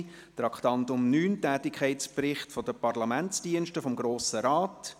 Beim Traktandum 9 handelt es sich um den Tätigkeitsbericht der Parlamentsdienste des Grossen Rates.